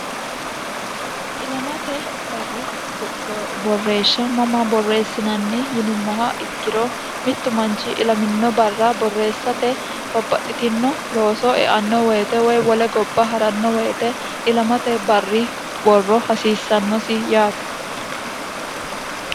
ilamate barri borreeshsha mama borreessinanni yinummoha ikkiro mittu manchi ilamino barra borreessate babbaxxitino looso eanno woyite woy wole gobba haranno woyite ilamate barri borro hasiissannosi yaate